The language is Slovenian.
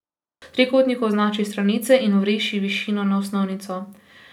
Trikotniku označi stranice in vriši višino na osnovnico.